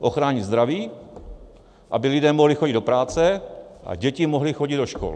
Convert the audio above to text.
Ochránit zdraví, aby lidé mohli chodit do práce a děti mohly chodit do škol.